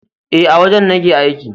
E, a wajen nake aiki.